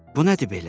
Bu nədir belə?